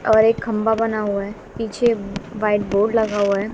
और एक खंभा बना हुआ है पीछे वाइट बोर्ड लगा हुआ है।